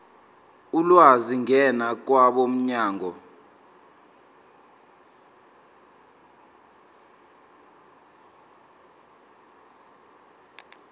ulwazi ngena kwabomnyango